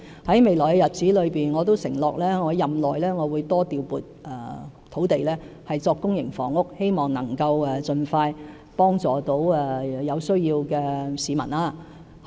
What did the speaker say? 在未來的日子，我承諾會在任內多調撥土地興建公營房屋，希望能夠盡快幫助有需要的市民。